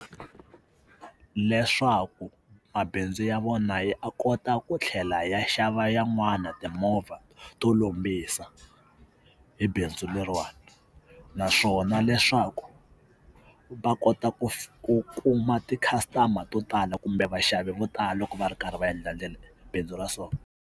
Leswaku mabindzu ya vona yi a kota ku tlhela ya xava yan'wana timovha to lombisa hi bindzu leriwani naswona leswaku va kota ku ku kuma ti-custumer to tala kumbe vaxavi vo tala loko va ri karhi va endla bindzu ra so.